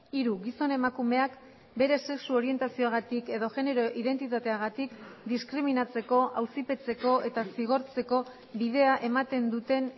hiru gizon emakumeak bere sexu orientazioagatik edo genero identitateagatik diskriminatzeko auzipetzeko eta zigortzeko bidea ematen duten